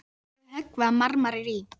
Stendur við að höggva marmara í